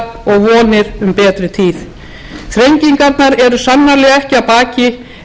vonir um betri tíð þrengingarnar eru sannarlega ekki að baki en við sem þjóð